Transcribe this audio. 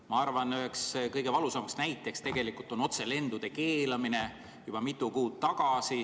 Ma arvan, et üheks kõige valusamaks näiteks tegelikult on otselendude keelamine juba mitu kuud tagasi.